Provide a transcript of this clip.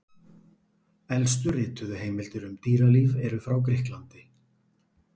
Elstu rituðu heimildir um dýralíf eru frá Grikklandi.